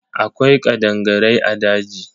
Akwai kadangarai a daji.